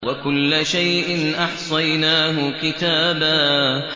وَكُلَّ شَيْءٍ أَحْصَيْنَاهُ كِتَابًا